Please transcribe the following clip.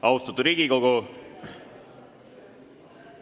Austatud Riigikogu!